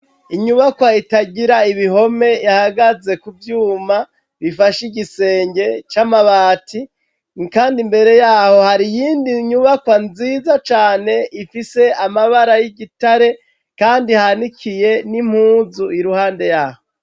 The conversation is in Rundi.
Inyubakwa itagira ibihome ihagaze kuvyuma bifashe igisenge c'amabati kandi imbere yaho hari iyind'inyubakwa nziza cane ifise amabara y'igitare kandi hanikiye n'impuzu iruhande yaho.